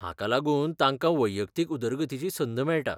हाका लागून तांकां वैयक्तीक उदरगतीची संद मेळटा.